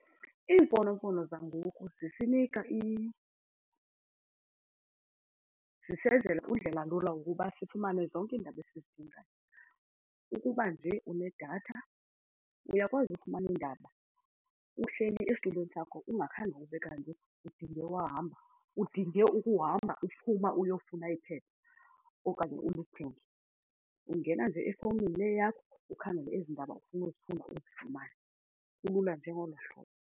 Iimfonomfono zangoku zisinika zisenzela undlelalula ukuba sifumane zonke iindaba esizidingayo. Ukuba nje unedatha uyakwazi ukufumana iindaba uhleli esitulweni sakho ungakhange ube kanti udinge ukuhamba uphuma uyofuna iphepha okanye ulithenge. Ungena nje efowunini le yakho ukhangele ezi ndaba ufuna uzifunda uzifumane kulula nje ngolo hlobo.